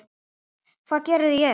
Hvað geri ég?